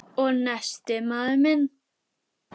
Og nestið, maður minn!